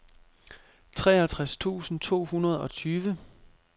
treogtres tusind to hundrede og tyve